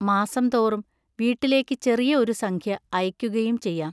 മാസം തോറും വീട്ടിലേക്ക് ചെറിയ ഒരു സംഖ്യ അയയ്ക്കുകയും ചെയ്യാം.